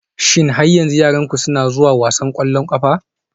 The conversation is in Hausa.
Shin yaranku har yanzu suna zuwa wasan ƙwallon ƙafa?